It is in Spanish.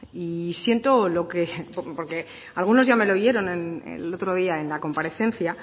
y siento lo que porque algunos ya me lo oyeron el otro día en la comparecencia